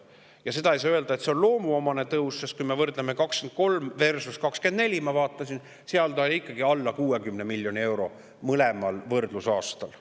Ja ei saa öelda, et see on loomuomane tõus, sest kui me võrdleme aastaid 2023 ja 2024, ma vaatasin, siis on see ikkagi alla 60 miljoni euro mõlemal võrdlusaastal.